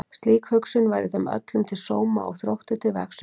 Slík hugsun væri þeim öllum til sóma og Þrótti til vegsauka.